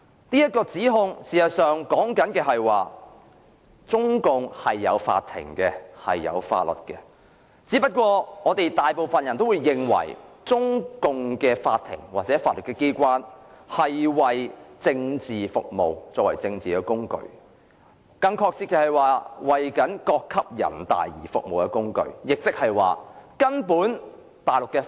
這說法其實是指中共是有法院和法律的，只是大部分人皆認為，中共的法院或法律機關是為政治服務，作為政治工具，更準確的說法是為各級人民代表大會服務的工具。